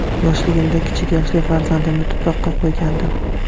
Yoshligimda kichik yoshli farzandimni tuproqqa qo‘ygandim.